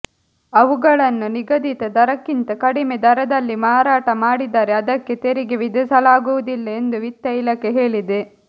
ಅವುಗಳನ್ನು ನಿಗದಿತ ದರಕ್ಕಿಂತ ಕಡಿಮೆ ದರದಲ್ಲಿ ಮಾರಾಟ ಮಾಡಿದರೆ ಅದಕ್ಕೆ ತೆರಿಗೆ ವಿಧಿಸಲಾಗು ವುದಿಲ್ಲ ಎಂದು ವಿತ್ತ ಇಲಾಖೆ ಹೇಳಿದೆ